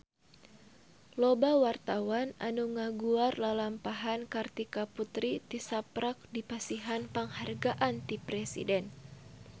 Loba wartawan anu ngaguar lalampahan Kartika Putri tisaprak dipasihan panghargaan ti Presiden